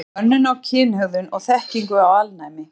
Könnun á kynhegðun og þekkingu á alnæmi.